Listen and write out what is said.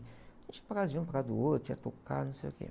A gente ia para casa de um, para casa do outro, ia tocar, não sei o quê.